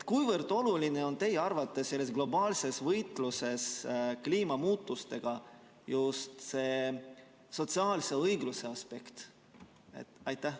Kui oluline on teie arvates selles globaalses võitluses kliimamuutustega just see sotsiaalse õigluse aspekt?